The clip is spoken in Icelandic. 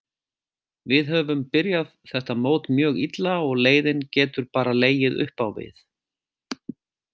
Við höfum byrjað þetta mót mjög illa og leiðinn getur bara legið uppá við.